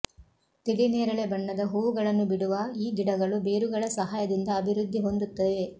ತಿಳಿ ನೇರಳೆ ಬಣ್ಣದ ಹೂವುಗಳನ್ನು ಬಿಡುವ ಈ ಗಿಡಗಳು ಬೇರುಗಳ ಸಹಾಯದಿಂದ ಅಭಿವೃದ್ಧಿ ಹೊಂದುತ್ತವೆ